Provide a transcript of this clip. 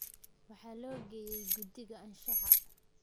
Waxa loo geeyey guddiga anshaxa.